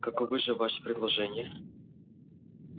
каковы же ваши предложения